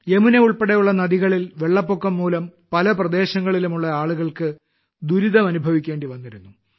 യമുന ഉൾപ്പെടെയുള്ള നദികളിൽ വെള്ളപ്പൊക്കംമൂലം പല പ്രദേശങ്ങളിലുമുള്ള ആളുകൾക്ക് ദുരിതം അനുഭവിക്കേണ്ടി വന്നിരുന്നു